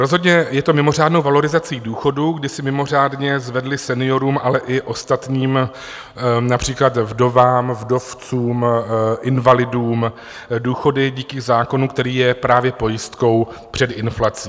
Rozhodně je to mimořádnou valorizací důchodů, kdy se mimořádně zvedly seniorům, ale i ostatním, například vdovám, vdovcům, invalidům, důchody díky zákonu, který je právě pojistkou před inflací.